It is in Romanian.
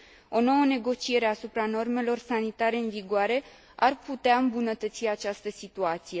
O nouă negociere asupra normelor sanitare în vigoare ar putea îmbunătăți această situație.